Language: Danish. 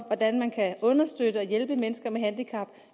hvordan man kan understøtte og hjælpe mennesker med handicap